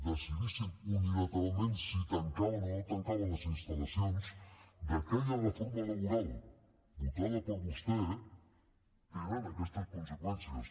decidissin unilateralment si tancaven o no tancaven les instal·lacions d’aquella reforma laboral votada per vostè tenen aquestes conseqüències